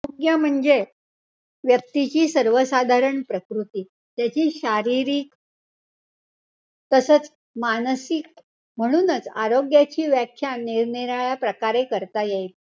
आरोग्य म्हणजे व्यक्तीची सर्वसाधारण प्रकृती. त्याची शारीरिक तसंच मानसिक. म्हणूनच आरोग्याची व्याख्या निरनिराळ्या प्रकारे करता येईल.